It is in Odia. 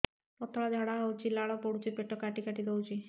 ପତଳା ଝାଡା ହଉଛି ଲାଳ ପଡୁଛି ପେଟ କାଟି କାଟି ଦଉଚି